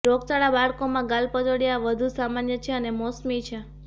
રોગચાળા બાળકોમાં ગાલપચોડિયા વધુ સામાન્ય છે અને મોસમી છે